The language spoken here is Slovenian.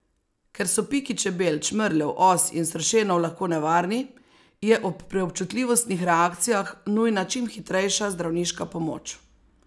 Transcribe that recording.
Ker so piki čebel, čmrljev, os in sršenov lahko nevarni, je ob preobčutljivostnih reakcijah nujna čim hitrejša zdravniška pomoč.